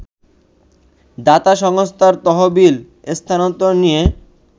দাতা সংস্থার তহবিল স্থানান্তর নিয়ে